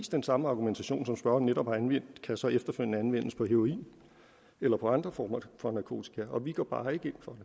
den samme argumentation som spørgeren netop har anvendt kan så efterfølgende anvendes på heroin eller på andre former for narkotika vi går bare ikke ind for